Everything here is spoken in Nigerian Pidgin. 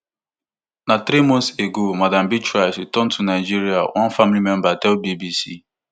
na three months ago madam beatrice return to nigeria one family member tell bbc